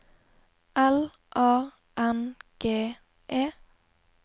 L A N G E